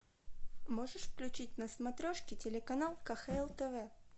можешь включить на смотрешке телеканал кхл тв